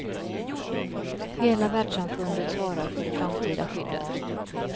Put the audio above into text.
Hela världssamfundet svarar för det framtida skyddet.